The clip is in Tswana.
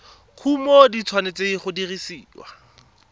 kumo di tshwanetse go dirisiwa